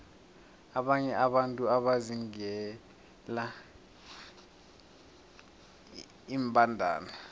abanye abantu bazingela iimbandana